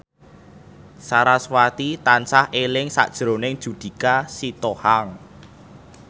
sarasvati tansah eling sakjroning Judika Sitohang